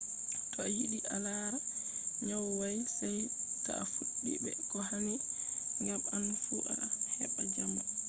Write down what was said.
to a yiɗi a lara nyawu may sey ta fuɗɗi be ko hani ngam an fu a heɓɓa jamo